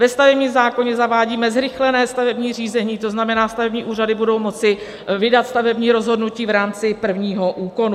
Ve stavebním zákoně zavádíme zrychlené stavební řízení, to znamená, stavební úřady budou moci vydat stavební rozhodnutí v rámci prvního úkonu.